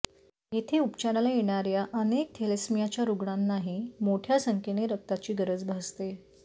येथे उपचाराला येणाऱ्या अनेक थेलेसेमियाच्या रुग्णांनाही मोठ्या संख्येने रक्ताची गरज भासते